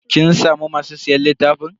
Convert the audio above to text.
Kin samu masu siyan littafin?